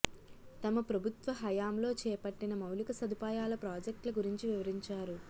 తమ ప్రభుత్వ హయాంలో చేపట్టిన మౌలిక సదుపాయాల ప్రాజెక్టుల గురించి వివరించారు